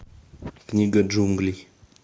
книга джунглей